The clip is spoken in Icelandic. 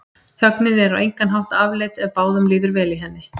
Þögnin er á engan hátt afleit ef báðum líður vel í henni.